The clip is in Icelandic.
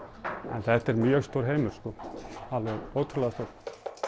en þetta er mjög stór heimur alveg ótrúlega stór